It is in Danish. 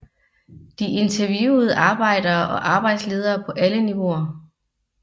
De interviewede arbejdere og arbejdsledere på alle niveauer